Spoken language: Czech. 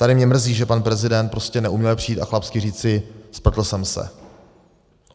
Tady mě mrzí, že pan prezident prostě neuměl přijít a chlapsky říci: Spletl jsem se.